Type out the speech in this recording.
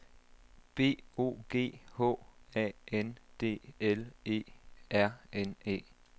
B O G H A N D L E R N E